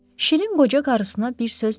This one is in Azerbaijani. Şirin qoca qarısına bir söz demədi.